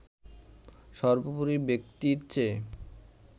সবোর্পরি ব্যক্তির চেয়ে